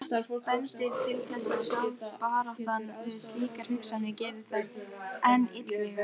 Margt bendir til þess að sjálf baráttan við slíkar hugsanir geri þær enn illvígari.